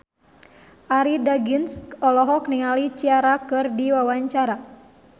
Arie Daginks olohok ningali Ciara keur diwawancara